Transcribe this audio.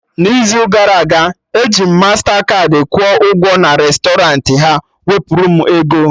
N'izu gara aga, eji m mastakaadị kwụọ ụgwọ na restọrant, ha wepụrụ m ego